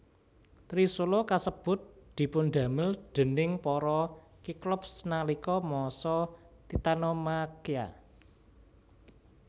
Trisula kasebut dipundamel déning para Kiklops nalika masa Titanomakhia